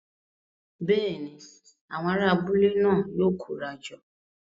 Bẹ́ẹ̀ni, awọn ará abúlé náà yóò kóra jọ